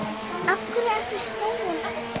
Af hverju ertu snúinn aftur?